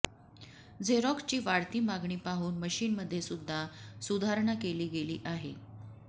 झेरॉक्सची वाढती मागणी पाहून मशिनमध्येसुद्धा सुधारणा केली गेली आहे